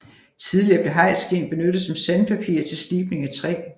Tidligere blev hajskind benyttet som sandpapir til slibning af træ